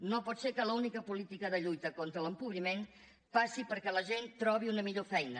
no pot ser que l’única política de lluita contra l’empobriment passi perquè la gent trobi una millor feina